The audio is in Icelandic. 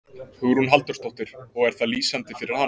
Hugrún Halldórsdóttir: Og er það lýsandi fyrir hana?